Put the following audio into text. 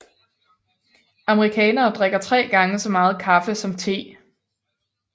Amerikanere drikker tre gange så meget kaffe som te